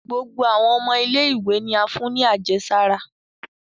Gbogbo awọn ọmọ ile-iwe ni a fún ní àjẹsárá